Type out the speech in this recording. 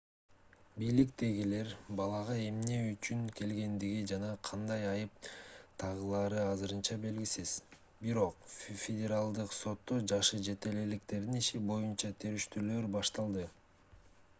бийликтегилер балага эмне үчүн келгендиги жана кандай айып тагылары азырынча белгисиз бирок федералдык сотто жашы жете электердин иши боюна териштирүүлөр башталды